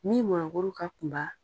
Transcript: Min mɔnikuru ka kunba